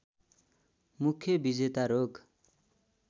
मुख्य विजेता रोग